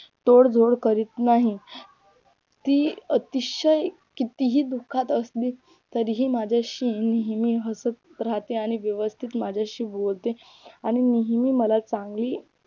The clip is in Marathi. तोड बोड करीत नाही ती अतिशय कितीही दुःखात असली तरी ती माझ्याशी नेहमी हासत राहते आणि व्यवस्थित माझ्याशी बोलते आणि नेहमी मला चांगली